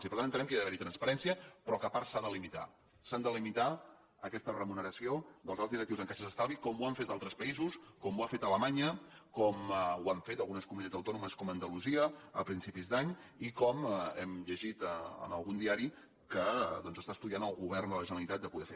i per tant entenem que ha d’haver·hi transparència però que a part s’ha de limitar s’ha de limitar aquesta remuneració dels alts directius en caixes d’estalvi com ho han fet altres països com ho ha fet alemanya com ho han fet algunes comuni·tats autònomes com andalusia a principis d’any i com hem llegit en algun diari que doncs està estudiant el govern de la generalitat de poder fer